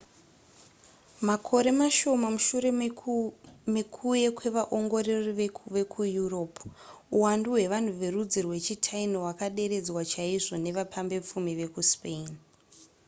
makore mashoma mushure mekuuye kwevaongorori vekueurope uwandu hwevanhu verudzi rwechitaino hwakaderedzwa chaizvo nevapambepfumi vekuspain